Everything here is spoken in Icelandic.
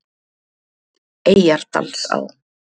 Eyjardalsá